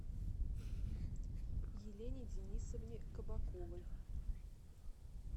елене денисовне кабаковой